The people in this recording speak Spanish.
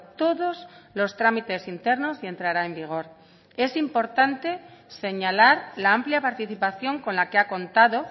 todos los trámites internos y entrará en vigor es importante señalar la amplia participación con la que ha contado